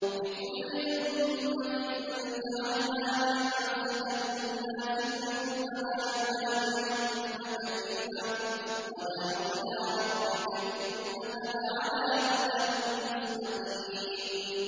لِّكُلِّ أُمَّةٍ جَعَلْنَا مَنسَكًا هُمْ نَاسِكُوهُ ۖ فَلَا يُنَازِعُنَّكَ فِي الْأَمْرِ ۚ وَادْعُ إِلَىٰ رَبِّكَ ۖ إِنَّكَ لَعَلَىٰ هُدًى مُّسْتَقِيمٍ